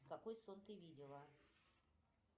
какой сон ты видела